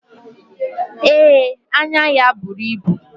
Ee, anya ya buru ibu.